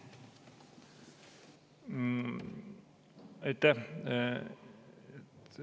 Aitäh!